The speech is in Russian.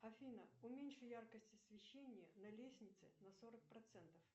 афина уменьши яркость освещения на лестнице на сорок процентов